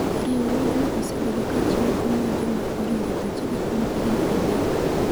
Riwruogno osebedo ka chiwo kony ne joma oringo thuchegi kuom higini adek.